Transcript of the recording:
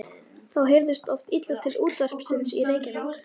Þá heyrðist oft illa til útvarpsins í Reykjavík.